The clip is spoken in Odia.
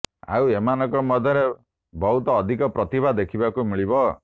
ଆଉ ଏମାନଙ୍କ ମଧ୍ୟରେ ବହୁତ୍ ଅଧିକ ପ୍ରତିଭା ଦେଖିବାକୁ ମିଳିବ